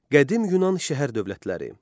Qədim Yunan şəhər dövlətləri.